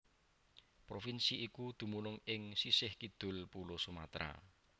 Provinsi iku dumunung ing sisih kidul Pulo Sumatra